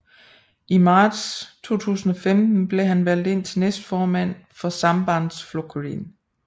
I marts 2015 blev han valgt til næstformand for Sambandsflokkurin